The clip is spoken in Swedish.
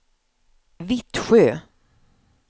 Vittsjö